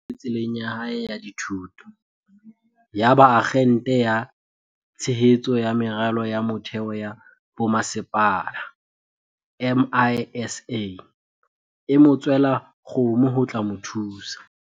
Ho ne ho se bobebe tseleng ya hae ya dithuto. Yaba Akgente ya Tshehetso ya Meralo ya Mo-theo ya Bomasepala, MISA, e mo tswela kgomo ho tla mo thusa.